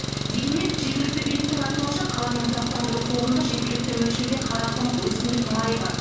дегенмен жергілікті биліктің айтуынша қаланың тұрақтандыру қорында жеткілікті мөлшерде қарақұмық өсімдік майы бар